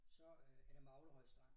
Så øh er det Maglehøj Strand